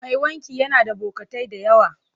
Mai wanki yana da bokatai da yawa.